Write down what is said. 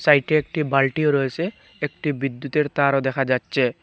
সাইডে একটি বালটিও রয়েছে একটি বিদ্যুতের তারও দেখা যাচ্চে ।